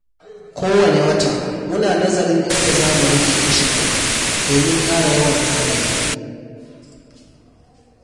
Kowane wata, muna nazarin inda za mu rage kashe kuɗi domin ƙara yawan tanadi.